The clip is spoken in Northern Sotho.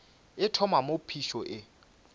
e thoma moo phišo e